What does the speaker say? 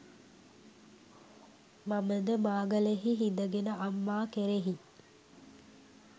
මම ද මාගලෙහි හිඳගෙන අම්මා කෙරෙහි